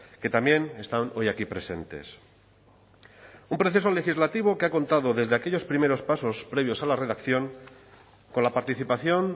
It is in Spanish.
que también están hoy aquí presentes un proceso legislativo que ha contado desde aquellos primeros pasos previos a la redacción con la participación